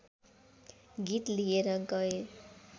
गीत लिएर गए